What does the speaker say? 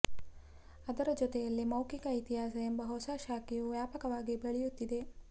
ಅದರ ಜೊತೆಯಲ್ಲೆ ಮೌಖಿಕ ಇತಿಹಾಸ ಎಂಬ ಹೊಸ ಶಾಖೆಯು ವ್ಯಾಪಕವಾಗಿ ಬೆಳೆಯುತ್ತಿದೆ